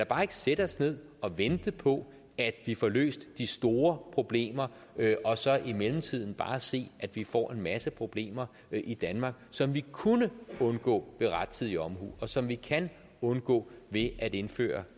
bare sætte os ned og vente på at vi får løst de store problemer og så i mellemtiden bare se at vi får en masse problemer i danmark som vi kunne undgå ved rettidig omhu og som vi kan undgå ved at indføre